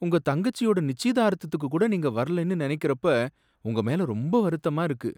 உங்க தங்கச்சியோட நிச்சயதார்த்தத்துக்கு கூட நீங்க வரலைன்னு நனைக்கிறப்ப உங்க மேல ரொம்ப வருத்தமா இருக்கு